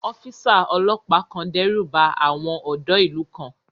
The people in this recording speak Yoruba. Ọ́físà ọlọ́pàá kan dẹ́rùba àwọn ọ̀dọ́ ìlú kan